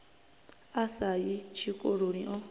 a sa yi tshikoloni o